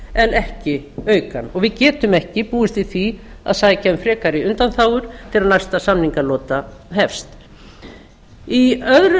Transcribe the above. en ekki auka hann og við getum ekki búist við því að sækja um frekari undanþágur þegar næsta samningalota hefst í öðru